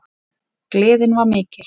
Gleðin var mikil.